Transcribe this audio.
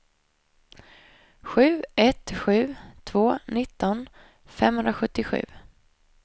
sju ett sju två nitton femhundrasjuttiosju